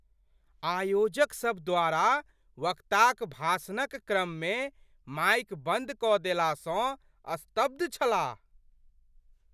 आयोजकसभ द्वारा वक्ताक भाषणक क्रम मे माइक बन्द कऽ देला सँ स्तब्ध छलाह।